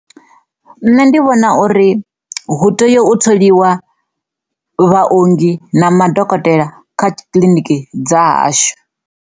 Nṋe ndi vhona uri hu tea u tholiwa vhaunḓi na madokotela kha kiliniki dza hashu.